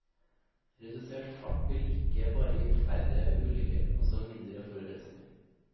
Redusert fart vil ikke bare gi færre ulykker, men også mindre forurensning.